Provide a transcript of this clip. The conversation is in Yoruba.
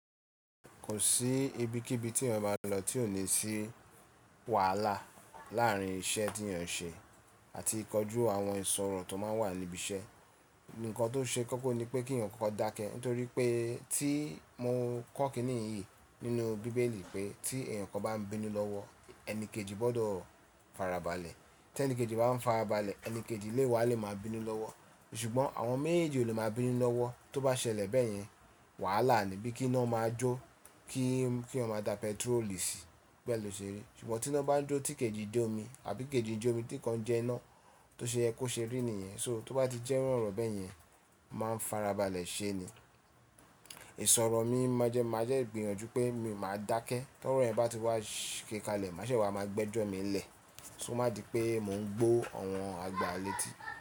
Kò sí ibikíbi tí èèyàn bá lọ tí ò ní sí wàhálà láàárín iṣẹ́ tí èèyàn ń ṣe àti ìkọjú àwọn ìṣòro tó máa ń wà níbi iṣẹ́. Ǹkan tó ṣe kókó ni pé kí èèyàn kokò dáke, nítorí pé tí mo kọ́ kíni yìí nínú bíbélì pé tí èèyàn kò bá ń bínú lọ́wọ́, ẹni kejì gbọ́dọ̀ farabalẹ̀. Tẹ ẹni kejì bá ń farabalẹ̀, ẹni kejì léwá lè máa bínú lọ́wọ́. Ṣùgbọ́n àwọn méjèèjì lè máa bínú lọ́wọ́, tó bá ṣẹlẹ̀ bẹ́yẹn, wàhálà ni bí kíná máa jó, kí ki eyan dá pẹtirólì sí, bẹ́ẹ̀ ló ṣe rí. Ṣùgbọ́n tí iná bá jó tí kejì jẹ́ omi àbí kejì jẹ́ omi tí kan jẹ iná tó ṣe yẹ kó ṣe rí nìyẹn. So tó bá ti jẹ́ irú oro bẹ́yẹn, máa ń farabalẹ̀ ṣe ni. Ìṣòro mi máa jẹ́ máa jẹ́ gbìyànjú pé mi máa dákẹ́. Torọ̀ yen bá ti wá ṣe kalẹ̀, máṣe wà máa gbẹ́jọ́ mi lẹ̀. Ko má di pé mò ń gbó àwọn àgbà létí.